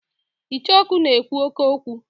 Icheoku na-ekwu oke okwu.